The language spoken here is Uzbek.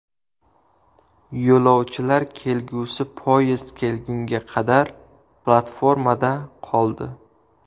Yo‘lovchilar kelgusi poyezd kelgunga qadar platformada qoldi.